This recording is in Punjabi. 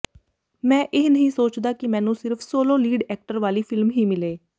ਮੈਂ ਇਹ ਨਹੀਂ ਸੋਚਦਾ ਕਿ ਮੈਨੂੰ ਸਿਰਫ ਸੋਲੋ ਲੀਡ ਐਕਟਰ ਵਾਲੀ ਫਿਲਮ ਹੀ ਮਿਲੇ